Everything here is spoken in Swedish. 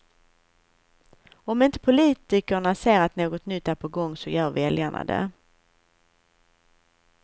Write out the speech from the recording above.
Om inte politikerna ser att något nytt är på gång, så gör väljarna det.